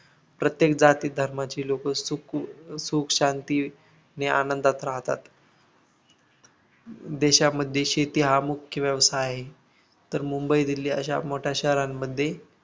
प्रत्येक जाती धर्मांची लोक असुख सुख शांतीने आनंदात राहतात देशामध्ये शेती हा मुख्य व्यवसाय आहे तर मुंबई दिल्ली अशा मोठ्या शहरांमध्ये